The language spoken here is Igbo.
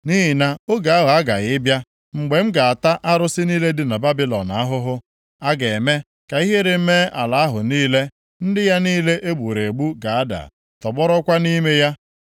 Nʼihi na oge ahụ aghaghị ịbịa mgbe m ga-ata arụsị niile dị na Babilọn ahụhụ. A ga-eme ka ihere mee ala ahụ niile. Ndị ya niile e gburu egbu ga-ada, tọgbọrọkwa nʼime ya,